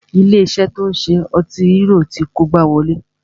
Ilé iṣé tí o ń ṣe ọtí hérò ti kó igbá wọlé.